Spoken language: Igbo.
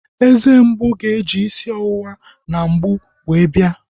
Eze mgbu ga-eji isi ọwụwa na mgbu wee bia